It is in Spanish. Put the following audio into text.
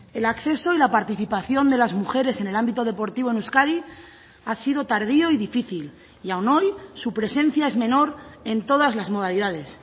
el acceso y la participación de las mujeres en el ámbito deportivo en euskadi ha sido tardío y difícil y aún hoy su presencia es menor en todas las modalidades